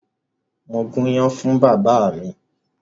Mo gún iyán fún bàbá mi.